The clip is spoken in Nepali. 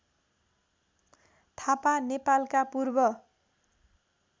थापा नेपालका पूर्व